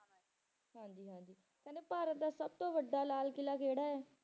ਹਾਂਜੀ ਹਾਂਜੀ ਕਹਿੰਦੇ ਭਾਰਤ ਦਾ ਸਭ ਤੋਂ ਵੱਡਾ ਲਾਲ ਕਿਲ੍ਹਾ ਕਿਹੜਾ ਹੈ?